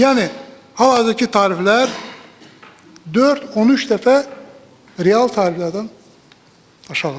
Yəni hal-hazırki tariflər 4-13 dəfə real tariflərdən aşağıdır.